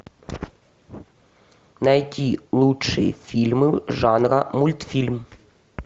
найти лучшие фильмы жанра мультфильм